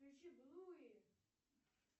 включи блуи